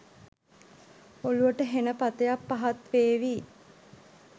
ඔළුවට හෙණ පතයක් පහත් වේවි